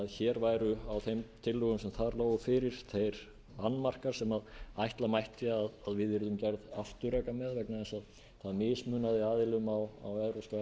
hér væru á þeim tillögum sem þar lágu fyrir þeir annmarkar sem ætla mætti að við yrðum gerð afturreka með vegna þess að það mismunaði aðila á evrópska efnahagssvæðinu